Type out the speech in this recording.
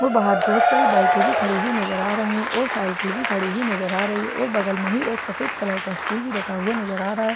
और बाहर बहुत सारी बाइके भी खड़ी हुई नजर आ रही है और साइकिल भी खड़ी हुई नजर आ रही है और बगल में ही एक सफेद कलर का स्टूल रखा हुआ नजर आ रहा है और--